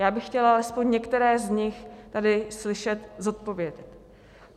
Já bych chtěla alespoň některé z nich tady slyšet zodpovědět.